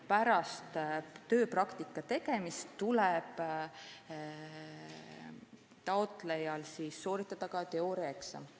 Pärast tööpraktika tegemist tuleb taotlejal sooritada teooriaeksam.